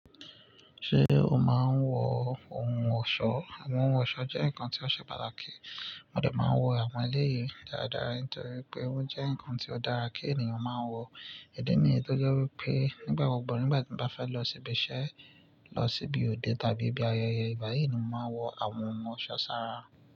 Ṣé o máa ń wọ ohun ọ̀ṣọ́? Àwọn ohun ọ̀ṣọ́ jẹ́ nǹkan tí ó ṣe pàtàkì. Mọ dé máa ń wọ àwọn eléyìí dáradára nítorí pé ó jẹ́ nǹkan tí ó dára kí ènìyàn máa wọ. Ìdí nìyí tó jẹ́ wípé nígbà gbogbo nígbà tí mo bá fẹ́ lọ ibi iṣẹ́, lọ síbi òde tàbí ibi ayẹyẹ ìgbá yii ni mo máa wọ àwọn ohun ọ̀ṣọ́ sára.